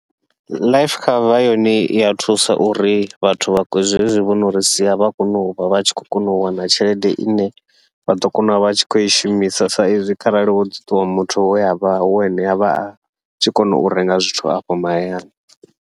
Life cover yone iya thusa uri vhathu vha zwezwi vhono ri sia vha kone uvha vha tshi khou kona u wana tshelede ine vha ḓo kona uvha vha tshi khou i shumisa, sa izwi kharali hoḓi ṱuwa muthu we avha wo ane avha a tshi kona u renga zwithu afho mahayani.